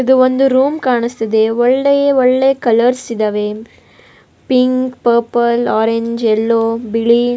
ಇದು ಒಂದು ರೂಮ್ ಕಾಣಿಸ್ತಿದೆ ಒಳ್ಳೆ ಒಳ್ಳೆ ಕಲರ್ಸ್ ಇದ್ದವೆ ಪಿಂಕ್ ಪರ್ಪಲ್ ಓರೆಂಜ್ ಎಲ್ಲೊ ಬಿಳಿ --